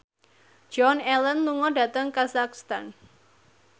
Joan Allen lunga dhateng kazakhstan